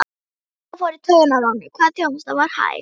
Það fór í taugarnar á honum hvað þjónustan var hæg.